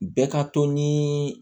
Bɛɛ ka to ni